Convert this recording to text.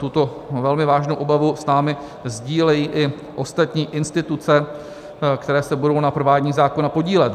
Tuto velmi vážnou obavu s námi sdílejí i ostatní instituce, které se budou na provádění zákona podílet.